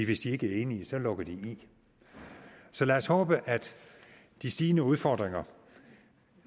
hvis de ikke er enige lukker de i så lad os håbe at de stigende udfordringer